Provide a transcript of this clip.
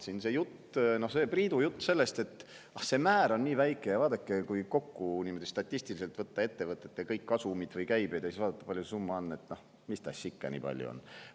Priidul oli selline jutt, et see määr on nii väike, et kui võtta statistiliselt kokku ettevõtete kasumid ja käibed ning siis vaadata, kui palju nende summast on, siis see ikka nii palju ei ole.